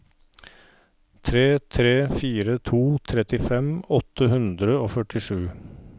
tre tre fire to trettifem åtte hundre og førtisju